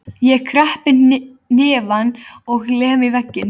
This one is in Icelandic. Ég kreppi hnefann og lem í vegginn.